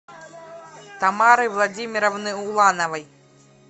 тамары владимировны улановой